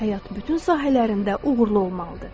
Həyat bütün sahələrində uğurlu olmalıdır.